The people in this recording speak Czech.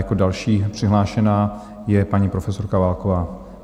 Jako další přihlášená je paní profesorka Válková.